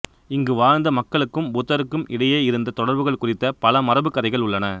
இங்கு வாழ்ந்த மக்களுக்கும் புத்தருக்கும் இடையேயிருந்த தொடர்புகள் குறித்த பல மரபுக்கதைகள் உள்ளன